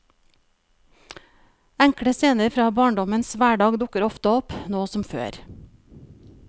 Enkle scener fra barndommens hverdag dukker ofte opp, nå som før.